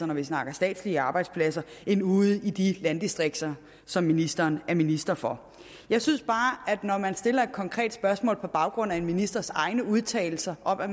når vi snakker statslige arbejdspladser end ude i de landdistrikter som ministeren er minister for jeg synes bare at når man stiller et konkret spørgsmål på baggrund af en ministers egne udtalelser om at